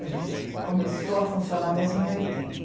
A gente começou a funcionar mesmo em oitenta.